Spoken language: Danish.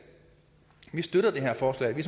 vi støtter det her forslag vi